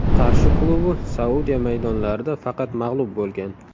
Qarshi klubi Saudiya maydonlarida faqat mag‘lub bo‘lgan.